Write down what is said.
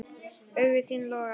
Augu þín loga.